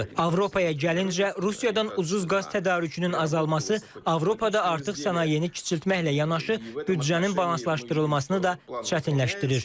Avropaya gəlincə, Rusiyadan ucuz qaz tədarükünün azalması Avropada artıq sənayeni kiçültməklə yanaşı, büdcənin balanslaşdırılmasını da çətinləşdirir.